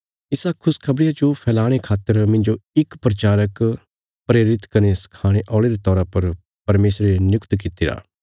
इसा खुशखबरिया जो फैलाणे खातर मिन्जो इक प्रचारक प्रेरित कने सखाणे औल़े रे तौरा पर परमेशरे नियुक्त कित्तिरा